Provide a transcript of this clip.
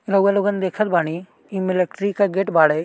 रउवा लोगन देखन बाड़ी इ मिलिट्री क गेट बाड़े।